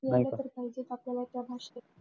यायला तर पाहिजेत आपल्याला त्या भाषेत.